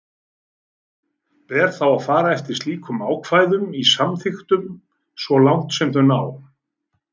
Ber þá að fara eftir slíkum ákvæðum í samþykktunum svo langt sem þau ná.